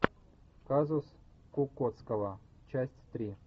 казус кукоцкого часть три